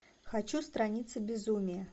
хочу страницы безумия